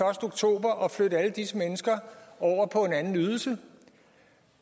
oktober at flytte alle disse mennesker over på en anden ydelse